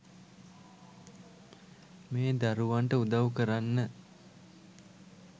මේ දරුවන්ට උදවු කරන්න